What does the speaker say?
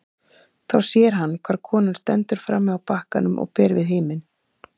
Þá sér hann hvar konan stendur frammi á bakkanum og ber við himin.